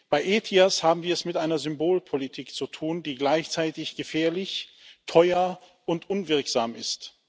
Bei ETIAS haben wir es mit einer Symbolpolitik zu tun, die gleichzeitig gefährlich, teuer und unwirksam ist.